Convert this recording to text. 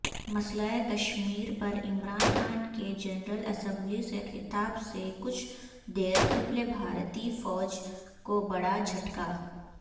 مسئلہ کشمیرپرعمران خان کے جنرل اسمبلی سے خطاب سےکچھ دیرقبل بھارتی فوج کوبڑاجھٹکا